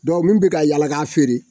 min bɛ ka yaala k'a feere